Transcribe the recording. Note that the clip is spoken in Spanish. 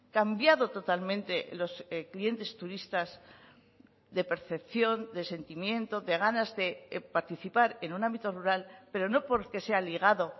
cambiado totalmente los clientes turistas de percepción de sentimiento de ganas de participar en un ámbito rural pero no porque se ha ligado